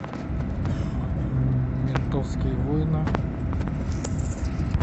ментовские войны